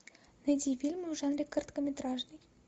найди фильмы в жанре короткометражный